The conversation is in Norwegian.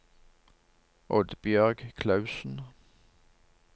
Oddbjørg Klausen